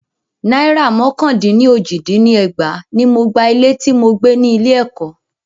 Náìrà mọ́kàn dín ní ójì dín ní ẹgbàá ní mo gba ilé tí mo gbé ni ilé ẹ̀kọ́.